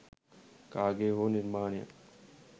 කාගේ හෝ නිර්මාණයක්